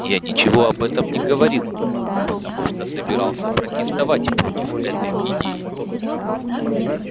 я ничего об этом не говорил потому что собирался протестовать против этой идеи